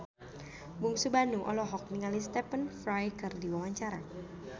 Bungsu Bandung olohok ningali Stephen Fry keur diwawancara